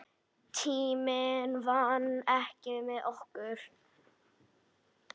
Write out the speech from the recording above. Tíminn vann ekki með okkur.